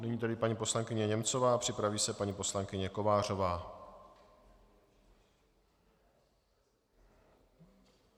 Nyní tedy paní poslankyně Němcová, připraví se paní poslankyně Kovářová.